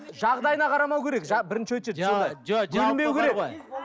жағдайына қарамау керек бірінші очередь